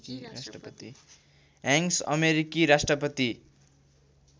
Hanks अमेरिकी राष्ट्रपति